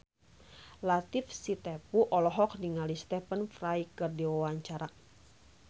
Latief Sitepu olohok ningali Stephen Fry keur diwawancara